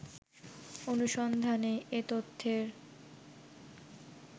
অনুসন্ধানে এ তথ্যের